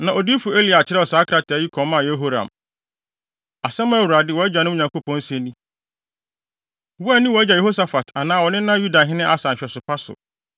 Na odiyifo Elia kyerɛw saa krataa yi kɔmaa Yehoram: “Asɛm a Awurade, wʼagya Dawid Nyankopɔn se ni: ‘Woanni wʼagya Yehosafat anaa wo nena Yudahene Asa nhwɛsopa so.